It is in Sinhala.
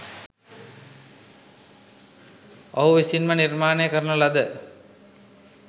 ඔහු විසින්ම නිර්මාණය කරන ලද